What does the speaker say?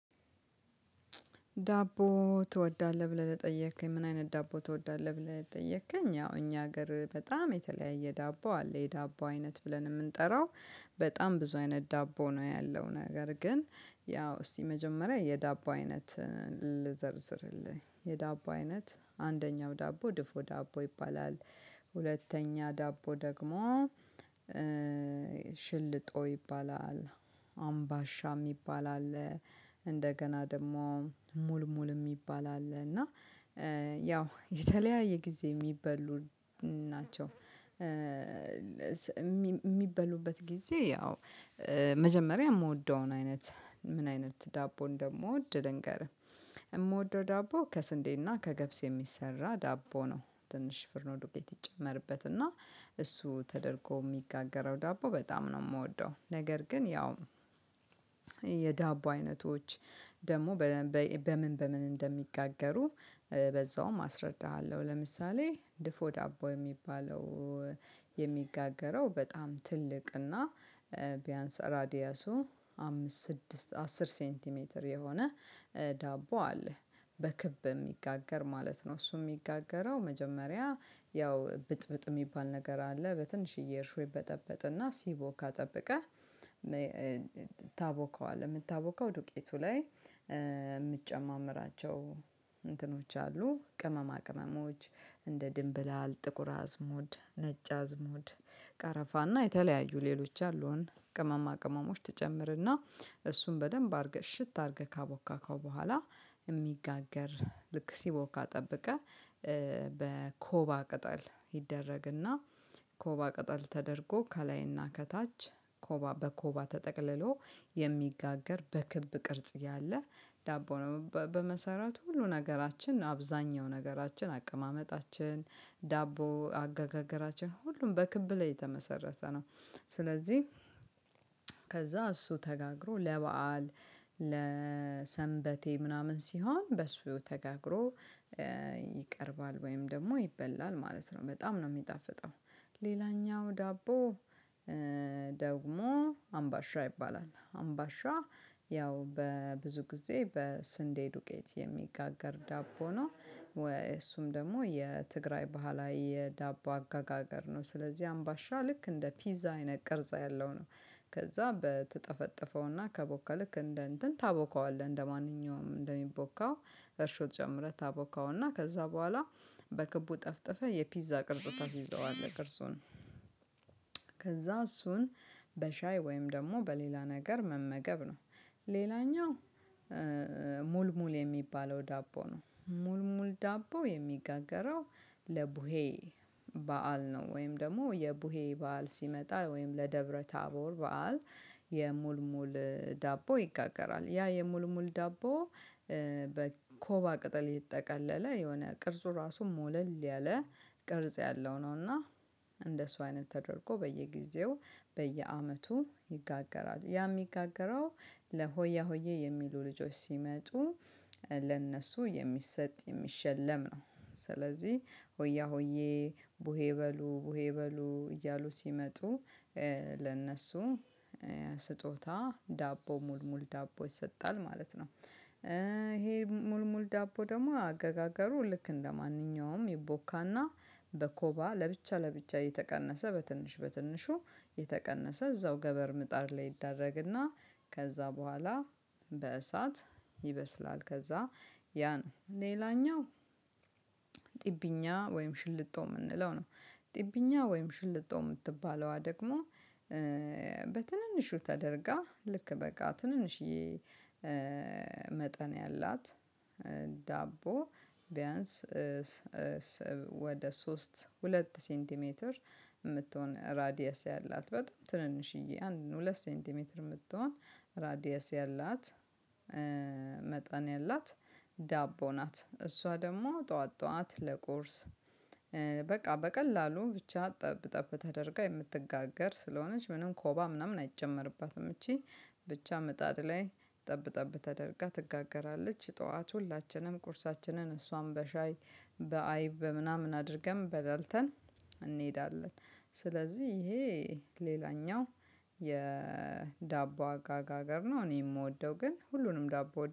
ዳቦ ትወዳለህ ብለህ ጠየከኝ ምን አይነት ዳቦ ትወዳለህ ብለህ ጠየከኝ? ያው እኛ ሀገር በጣም የተለያየ ዳቦ አለ የዳቦ አይነት ብለን የምንጠራው። በጣም ብዙ አይነት ዳቦ ነው ያለው ነገር ግን ያው እስቲ መጀመሪያ የዳቦ አይነት ልዘርዝርልህ የዳቦ አይነት አንደኛው ዳቦ ድፎ ዳቦ ይባላል። ሁለተኛ ዳቦ ደግሞ ሽልጦ ይባላል አምባሻ የሚባል አለ። እንደገና ደግሞ ሙል ሙል የሚባል አለ እና ያው የተለያየ ጊዜ የሚበሉ ናቸው። የሚበሉበት ጊዜ ያው መጀመሪያ የምወደውን አይነት ምን አይነት ዳቦ እንደምወድ ልንገርህ። የምወደው ዳቦ ከስንዴና ከገብስ የሚሰራ ዳቦ ነው ትንሽ ፍርኖ ዱቄት ይጨመርበት እና እሱ ተደርጎ የሚጋገረው ዳቦ በጣም ነው የምወደው። ነገር ግን ያው የዳቦ አይነቶች ደግሞ በምን በምን እንደሚጋገሩ በዛውም አስረዳሃለሁ። ለምሳሌ ድፎ ዳቦ የሚባለው የሚጋገረው በጣም ትልቅ እና ቢያንስ ራዲያሱ አምስት ስድስት አስር ሴንቲሜትር የሆነ ዳቦ አለ። በክብ የሚጋገር ማለት ነው። እሱም የሚጋገረው መጀመሪያ ያው ብጥብጥ የሚባል ነገር አለ በትንሽዬ እርሾ ይበጠበጥና ሲቦካ ካጠበቀ። ታቦከዋለህ የምታቦከው ዱቄቱ ላይ የምትጨማምራቸው እንትኖች አሉ ቅመማ ቅመሞች እንደ ድንብላል ጥቁር አዝሙድ ነጭ አዝሙድ ቀረፋና የተለያዩ ሌሎች አሉን። ቅመማ ቅመሞች ትጨምርና እሱን በደንብ አድርገህ እሽት አድርገህ ካቦካከው በኋላ። የሚጋገር ልክ ሲቦካ ጠብቀህ በኮባ ቅጠል ይደረግና ኮባ ቅጠል ተደርጎ ከላይና ከታች ኮባ በኮባ ተጠቅልሎ የሚጋገር በክብ ቅርጽ ያለ ዳቦ በመሰረቱ ሁሉ ነገራችን አብዛኛው ነገራችን አቀማመጣችን ዳቦ አጋገራችን ሁሉም በክብ ላይ የተመሰረተ ነው። ስለዚህ ከዛ እሱ ተጋግሮ ለበአል ለሰንበቴ ምናምን ሲሆን በሱ ተጋግሮ ወይም ደግሞ ይበላል ማለት ነው። በጣም ነው የሚጣፍጠው። ሌላኛው ዳቦ ደግሞ አምባሻ ይባላል አምባሻ ያው በብዙ ጊዜ በስንዴ ዱቄት የሚጋገር ዳቦ ነው። ወይ እሱም ደግሞ የትግራይ ባህላዊ የዳቦ አጋጋገር ነው። ስለዚህ አምባሻ ልክ እንደ ፒዛ አይነት ቅርጽ ያለው ነው። ከዛ በተጠፈጠፈውና ከቦካ ልክ እንደ እንትን ታቦካዋለህ እንደማንኛውም እንደሚቦካው እርሾ ጨምረህ ታቦካውና ከዛ በኋላ በክቡ ጠፍጥፈህ የፒዛ ቅርጽ ታስይዘዋለህ ቅርጹ ነው። ከዛ እሱን በሻይ ወይም ደግሞ በሌላ ነገር መመገብ ነው። ሌላኛው ሙል ሙል የሚባለው ዳቦ ነው ሙል ሙል ዳቦ የሚጋገረው ለቡሄ በዓል ነው። ወይም ደግሞ የቡሄ በዓል ሲመጣ ወይም ለደብረ ታቦር በዓል የሙልሙል ዳቦ ይጋገራል። ያ የሙሉ ሙሉ ዳቦ በኮባ ቅጠል የተጠቀለለ የሆነ ቅርጹ ራሱ ሞለል ያለ ቅርጽ ያለው ነው። እና እንደሱ አይነት ተደርጎ በየጊዜው በየአመቱ ይጋገራል ያ የሚጋገረው ለሆያ ሆዬ የሚሉ ልጆች ሲመጡ ለእነሱ የሚሰጥ የሚሸለም ነው። ስለዚህ ሆያ ሆዬ ቡሄ በሉ ቡሄ በሉ እያሉ ሲመጡ ለእነሱ ስጦታ ዳቦ ሙል ሙል ዳቦ ይሰጣል ማለት ነው። ይሄ ሙል ሙል ዳቦ ደግሞ አገጋገሩ ልክ እንደማንኛውም ይቦካና በኮባ ለብቻ ለብቻ እየተቀነሰ በትንሽ በትንሹ እየተቀነሰ እዛው ገበር ምጣድ ላይ ይደረግና ከዛ በኋላ በእሳት ይበስላል። ከዛ ያ ነው ሌላኛው ጥብኛ ወይም ሽልጦ የምንለው ነው። ጥብኛ ወይም ሽልጦ የምትባለዋ ደግሞ በትንንሹ ተደርጋ ልክ በቃ ትንንሽዬ መጠን ያላት ዳቦ ቢያንስ ወደ ሶስት ሁለት ሲንቲሜትር የምትሆን ራዲየስ ያላት በጣም ትንንሽዬ አንድ ሁለት ሴንቲሜትር የምትሆን ራዲየስ ያላት መጠን ያላት ዳቦ ናት። እሷ ደግሞ ጠዋት ጠዋት ለቁርስ በቃ በቀላሉ ብቻ ጠብ ጠብ ተደርጋ የምትጋገር ስለሆነች ምንም ኮባ ምናምን አይጨመርባትም እቺ ብቻ ምጣድ ላይ ጠብ ጠብ ተደርጋ ትጋገራለች። ጠዋት ሁላችንም ቁርሳችንን እሷም በሻይ በአይብ በምናምን አድርገን በላልተን እንሄዳለን። ስለዚህ ይሄ ሌላኛው የዳቦ አጋጋገር ነው። እኔ የምወደው ግን ሁሉንም ዳቦ